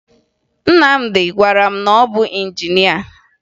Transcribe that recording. Nnamdị gwara m na ọ bụ injinịa